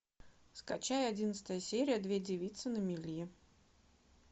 скачай одиннадцатая серия две девицы на мели